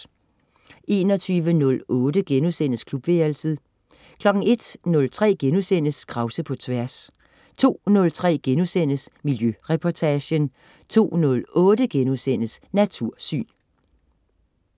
21.08 Klubværelset* 01.03 Krause på Tværs* 02.03 Miljøreportagen* 02.08 Natursyn*